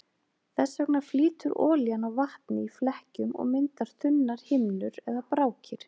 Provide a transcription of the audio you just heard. Þess vegna flýtur olían á vatni í flekkjum og myndar þunnar himnur eða brákir.